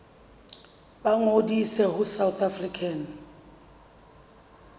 ba ngodise ho south african